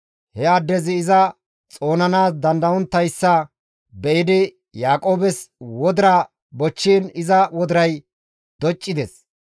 He addezi iza xoonanaas dandayettonttayssa be7idi Yaaqoobes wodira bochchiin iza wodiray doccides.